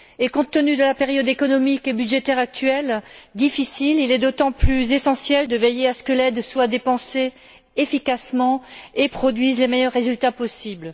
Compte tenu de la période économique et budgétaire actuelle difficile il est d'autant plus essentiel de veiller à ce que l'aide soit dépensée efficacement et produise les meilleurs résultats possibles.